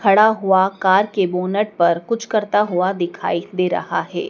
खड़ा हुआ कार के बोनट पर कुछ करता हुआ दिखाई दे रहा है।